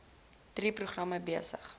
drie programme besig